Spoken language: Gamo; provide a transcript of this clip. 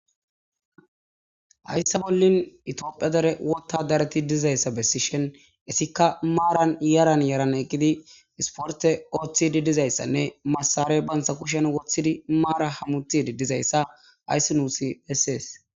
hayssa bollin itiophiya dare wotta dareti dizayssa bessi shen issikka maaran yaran yaran eqqidi isporte ooththidi dizayssanne masare bantsa kushen woththidi maara hammutidi dizayssa ayssi nuusi essees